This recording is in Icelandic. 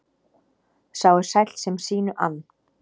Sá er sæll sem sínu ann.